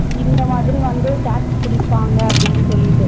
இந்தமாதிரி வந்து tax புடிப்பாங்க அப்டினு சொல்லிட்டு